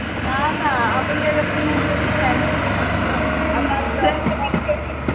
हां ना आपण काय करतो ते बघतच नाही दुसरंच बघतो आता